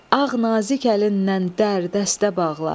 Ağ nazik əlindən dər dəstə bağla,